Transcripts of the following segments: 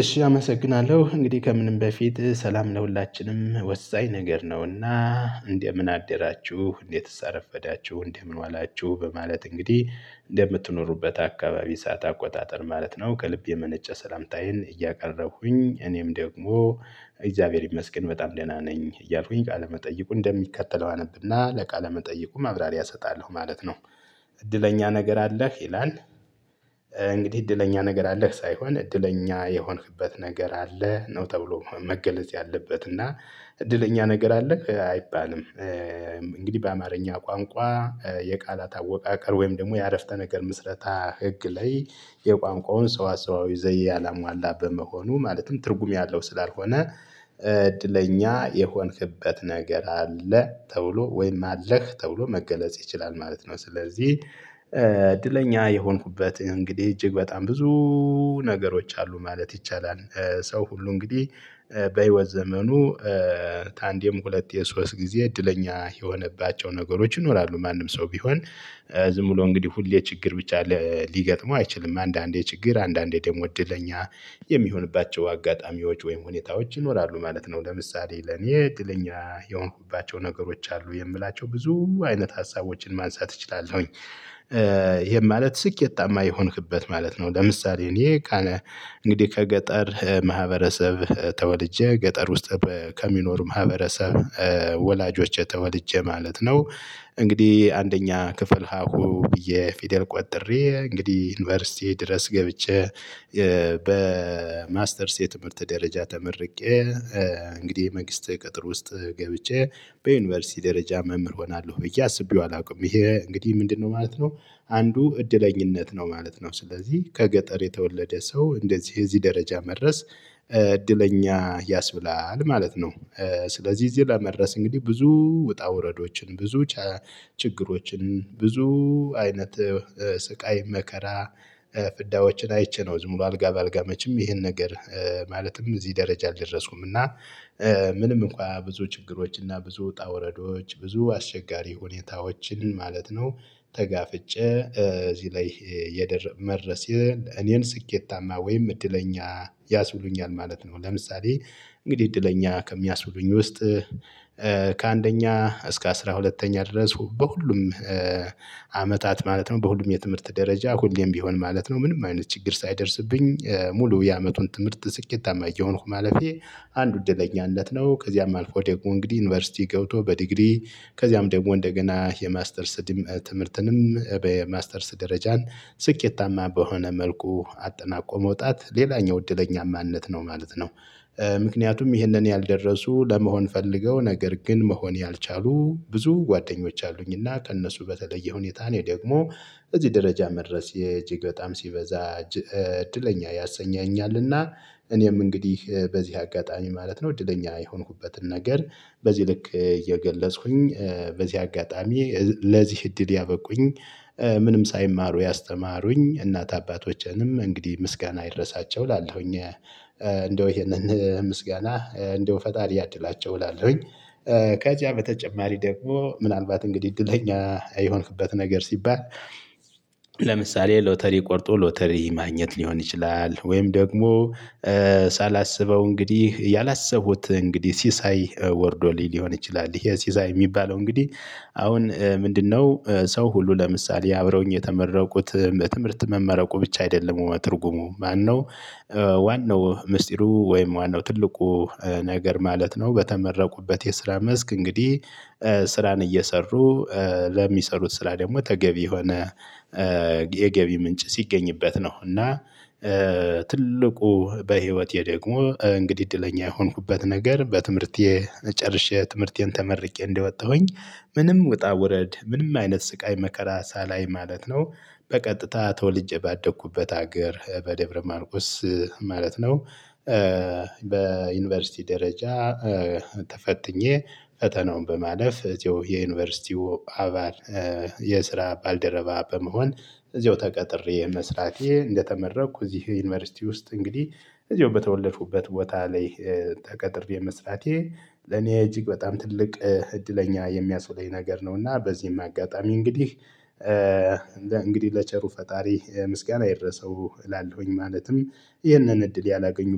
እሺ አመሰግናለሁ፤ እንግዲህ ከምንም በፊት ሰላም ለሁላችንም ወሳኝ ነገር ነውና "እንደምን አደራችሁ? እንዴት አረፈዳችሁ? እንዴት ዋላችሁ?" በማለት እንግዲህ እንደምትኖሩበት አካባቢ የሰዓት አቆጣጠር ማለት ነው፣ ከልብ የመነጨ ሰላምታዬን እያቀረብኩኝ፣ እኔም ደግሞ "እግዚአብሔር ይመስገን፣ በጣም ደህና ነኝ" እያልኩኝ፣ ቃለ መጠይቁን እንደሚከተለው አነብና ለቃለ መጠይቁ ማብራሪያ እሰጣለሁ ማለት ነው። "እድለኛ ነገር አለህ?" ይላል፤ እንግዲህ "እድለኛ ነገር አለህ?" ሳይሆን፣ "እድለኛ የሆንክበት ነገር አለ?" ነው ተብሎ መገለጽ ያለበት፤ እና "እድለኛ ነገር አለህ" አይባልም። እንግዲህ በአማርኛ ቋንቋ በቃላት አወቃቀር ወይም ደግሞ በዐረፍተ ነገር ምሥረታ ሕግ ላይ የቋንቋውን ሰዋስዋዊ ስርዓት ያላሟላ በመሆኑ፣ ማለትም ትርጉም ያለው ስላልሆነ "እድለኛ የሆንክበት ነገር አለ?" ተብሎ ወይም "አለህ?" ተብሎ መገለጽ ይችላል ማለት ነው። ስለዚህ እድለኛ የሆንኩበት እንግዲህ እጅግ በጣም ብዙ ነገሮች አሉ ማለት ይቻላል። ሰው ሁሉ እንግዲህ በህይወት ዘመኑ ከአንድም ሁለት ሶስት ጊዜ እድለኛ የሆነባቸው ነገሮች ይኖራሉ፤ ማንም ሰው ቢሆን። ዝም ብሎ እንግዲህ ሁሌ ችግር ብቻ ሊገጥመው አይችልም፤ አንዳንዴ ችግር፣ አንዳንዴ ደግሞ እድለኛ የሚሆንባቸው አጋጣሚዎች ወይም ሁኔታዎች ይኖራሉ ማለት ነው። ለምሳሌ ለእኔ እድለኛ የሆንኩባቸው ነገሮች አሉ የምላቸው፣ ብዙ አይነት ሐሳቦችን ማንሳት እችላለሁኝ። ይሄ ማለት ስኬታማ የሆንክበት ማለት ነው፤ ለምሳሌ እኔ እኔ እንግዲህ ከገጠር ማህበረሰብ ተወልጄ፣ ገጠር ውስጥ ከሚኖሩ ማህበረሰብ ወላጆች ተወልጄ ማለት ነው፣ እንግዲህ አንደኛ ክፍል ሀሁ ብዬ ፊደል ቆጥሬ፣ እንግዲህ ዩኒቨርሲቲ ድረስ ገብቼ በማስተርስ የትምህርት ደረጃ ተመርቄ፣ እንግዲህ መንግስት ቅጥር ውስጥ ገብቼ በዩኒቨርሲቲ ደረጃ መምህር እሆናለሁ ብዬ አስቤው አላውቅም። ይሄ እንግዲህ ምንድነው ማለት ነው? አንዱ ዕድለኛነት ነው ማለት ነው። ስለዚህ ከገጠር የተወለደ ሰው እንደዚህ የዚህ ደረጃ መድረሱ "እድለኛ" ያሰኛል ማለት ነው። ስለዚህ እዚህ ለመድረስ እንግዲህ ብዙ ውጣ ውረዶችን፣ ብዙ ችግሮችን፣ ብዙ አይነት ሥቃይ መከራ ፍዳዎችን አይቼ ነው፤ ዝም ብሎ አልጋ በአልጋ መቼም ይሄ ነገር ማለትም እዚህ ደረጃ አልደረስኩም፤ እና ምንም እንኳን ብዙ ችግሮች እና ብዙ ውጣ ውረዶች፣ ብዙ አስቸጋሪ ሁኔታዎችን ማለት ነው፣ ተጋፍጬ እዚህ ላይ መድርሴ እኔን ስኬታማ ወይም እድለኛ ያሰኘኛል ማለት ነው። ለምሳሌ እንግዲህ እድለኛ ከሚያስቡሉኝ ውስጥ ከአንደኛ እስከ ዐሥራ ሁለተኛ ድረስ በሁሉም አመታት ማለት ነው፣ በሁሉም የትምህርት ደረጃ ሁሌም ቢሆን ማለት ነው፣ ምንም አይነት ችግር ሳይደርስብኝ ሙሉ የዓመቱን ትምህርት ስኬታማ እየሆንኩ ማለፌ አንድ ዕድለኛነት ነው፤ ከዚያም አልፎ ደግሞ እንግዲህ ዩኒቨርሲቲ ገብቶ በዲግሪ ከዚያም ደግሞ እንደገና የማስተርስ ትምህርትንም በማስተርስ ደረጃ ስኬታማ በሆነ መልኩ አጠናቆ መውጣት ሌላኛው ዕድለኛነት ነው ማለት ነው። ምክንያቱም ይህን ያልደረሱ፣ ለመሆን ፈልገው ነገር ግን መሆን ያልቻሉ ብዙ ጓደኞች አሉኝና ከእነሱ በተለየ ሁኔታ እኔ ደግሞ እዚህ ደረጃ መድረሴ እጅግ በጣም ሲበዛ እድለኛ ያሰኘኛልና እኔም እንግዲህ በዚህ አጋጣሚ ማለት ነው፣ እድለኛ የሆንኩበትን ነገር በዚህ ልክ እየገለጽኩኝ፣ በዚህ አጋጣሚ ለዚህ እድል ያበቁኝ ምንም ሳይማሩ ያስተማሩኝ እናት አባቶቼንም እንግዲህ "ምስጋና ይድረሳቸው" እላለሁኝ። እንደው ይሄን ምስጋና፣ እንደው "ፈጣሪ ያድላቸው" እላለሁኝ። ከዚያ በተጨማሪ ደግሞ ምናልባት እንግዲህ "እድለኛ የሆንክበት ነገር" ሲባል ለምሳሌ ሎተሪ ቆርጦ ሎተሪ ማግኘት ሊሆን ይችላል፤ ወይም ደግሞ ሳላስበው እንግዲህ ያላሰቡት ሲሳይ ወርዶ ሊሆን ይችላል፤ ሲሳይ የሚባለው እንግዲህ አሁን ምንድነው፣ ሰው ሁሉ ለምሳሌ አብረውኝ የተመረቁት፣ በትምህርት መመረቁ ብቻ አይደለም ትርጉሙ፤ ምንድነው ዋናው ምስጢሩ ወይም ዋናው ትልቁ ነገር ማለት ነው፣ በተመረቁበት የስራ መስክ እንግዲህ ስራን እየሰሩ፣ ለሚሠሩት ስራ ደግሞ ተገቢ የሆነ የገቢ ምንጭ ሲገኝበት ነው፤ እና ትልቁ በህይወቴ ደግሞ እንግዲህ እድለኛ የሆንኩበት ነገር፣ ትምህርቴን ጨርሼ ትምህርቴን ተመርቄ እንደወጣሁኝ፣ ምንም ውጣ ውረድ፣ ምንም አይነት ሥቃይ መከራ ሳላይ ማለት ነው፣ በቀጥታ ተወልጄ ባደግሁበት አገር በደብረ ማርቆስ ማለት ነው በዩኒቨርሲቲ ደረጃ ተፈትኜ ፈተናውን በማለፍ፣ የዩኒቨርሲቲው አባል የስራ ባልደረባ በመሆን እዚሁ ተቀጥሬ መስራቴ፣ እንደተመረቅሁ እዚህ ዩኒቨርሲቲ ውስጥ እንግዲህ እዚሁ በተወለድኩበት ቦታ ላይ ተቀጥሬ መስራቴ ለእኔ እጅግ በጣም ትልቅ እድለኛ የሚያሰኘኝ ነገር ነውና፣ በዚህም አጋጣሚ እንግዲህ ለቸሩ ፈጣሪ "ምስጋና ይድረሰው" እላለሁኝ፤ ማለትም ይህን እድል ያላገኙ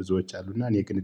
ብዙዎች አሉና፤ እኔ ግን